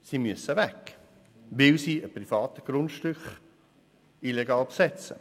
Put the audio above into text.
Sie müssen weg, weil sie ein privates Grundstück illegal besetzen.